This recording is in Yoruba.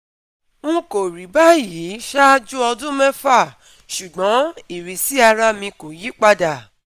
N kò rí báyìí ṣáájú ọdún mẹ́fà, ṣùgbọ́n ìrísí ara mi kò yí padà